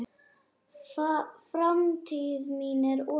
Framtíð mín er opin.